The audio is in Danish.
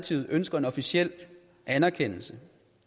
side ønskede en officiel anerkendelse